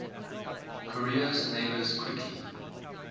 korea's neighbours quickly